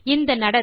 இந்த நடத்தை